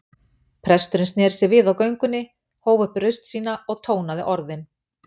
Presturinn sneri sér við á göngunni, hóf upp raust sína og tónaði orðin